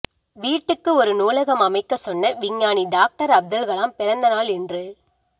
வீட்டுக்கு ஒரு நூலகம் அமைக்க சொன்ன விஞ்ஞானி டாக்டர் அப்துல்கலாம் பிறந்தநாள் இன்று